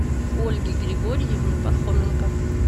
ольге григорьевне пархоменко